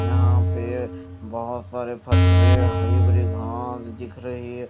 यहां पे बहोत सारे पतरे हरि भरी घास दिख रही--